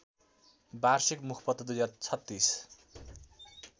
वार्षिक मुखपत्र २०३६